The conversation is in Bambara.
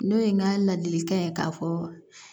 N'o ye n ka ladilikan ye k'a fɔ